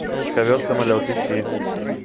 ковер самолет ищи